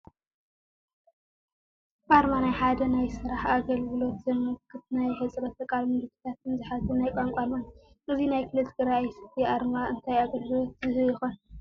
ኣርማ፡- ናይ ሓደ ናይ ስራሕ ኣገለግሎት ዘመክት ናይ ኣሕፁሮተ ቃላት፣ ምልክታትን ዝሓዘ ናይ ቋንቋ ኣርማ እዩ፡፡ እዚ ናይ ክልል ትግራይ ኦይሲቲ ኣርማ እንታይ ኣገልግሎት ዝህብ ይኾን